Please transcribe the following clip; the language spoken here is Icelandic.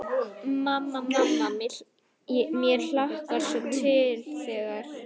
Mamma, mamma mér hlakkar svo til þegar.